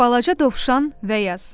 Balaca dovşan və yaz.